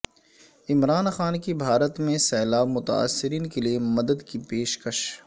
عمران خان کی بھارت میں سیلاب متاثرین کیلئے مدد کی پیشکش